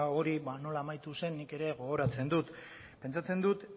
hori ba nola amaitu zen nik ere gogoratzen dut pentsatzen dut